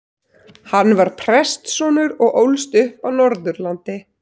Hann var prestssonur og ólst upp á Norðurlandi.